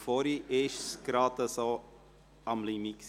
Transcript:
Vorhin war es gerade am Limit.